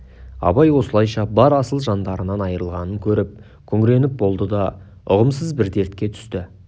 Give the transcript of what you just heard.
абай осылайша бар асыл жандарынан айрылғанын көріп күңіреніп болды да ұғымсыз бір дертке түсті